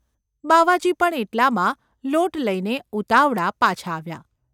બાવાજી પણ એટલામાં લોટ લઇને ​ ઉતાવળા પાછા આવ્યા.